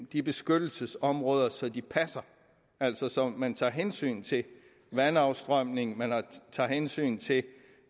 de beskyttelsesområder så de passer altså så man tager hensyn til vandafstrømning tager hensyn til